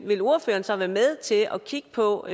vil ordføreren så være med til at kigge på